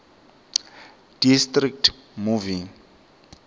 district movie